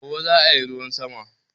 Gobe zaa yi ruwan sama